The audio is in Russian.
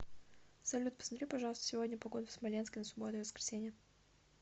салют посмотри пожалуйста сегодня погоду в смоленске на субботу и воскресенье